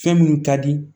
Fɛn minnu ka di